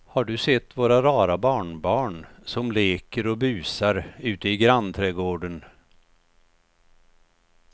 Har du sett våra rara barnbarn som leker och busar ute i grannträdgården!